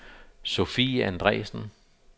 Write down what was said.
Sofie Andresen